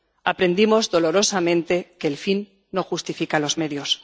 Aprendimos dolorosamente que el fin no justifica los medios.